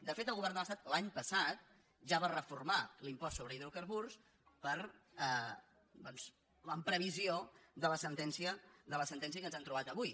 de fet el govern de l’estat l’any passat ja va reformar l’impost sobre hi·drocarburs doncs en previsió de la sentència que ens hem trobat avui